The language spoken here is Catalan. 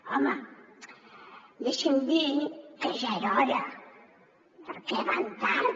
home deixi’m dir que ja era hora perquè van tard